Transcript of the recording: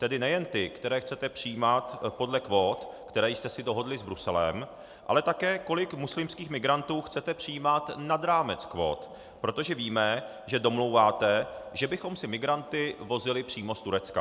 Tedy nejen ty, které chcete přijímat podle kvót, které jste si dohodli s Bruselem, ale také kolik muslimských migrantů chcete přijímat nad rámec kvót, protože víme, že domlouváte, že bychom si migranty vozili přímo z Turecka.